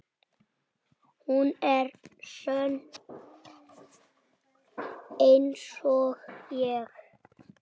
Hún er sönn einsog ég.